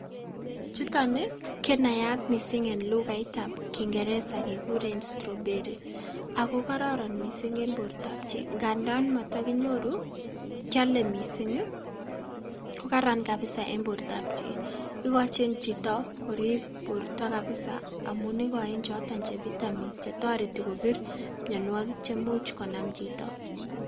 Chuton ni kenaiyat missing' en lukaitab kiingereza kekuren straw berry ago kororon missing' en bortab chi. Ngandan motokinyoru kiole missing' ii, kokaran kabisa en bortab chi, ikochin chito korib borto kabisa amun ikochin choton che vitamins chetoreti kobir mionwogik chemuch konam chito.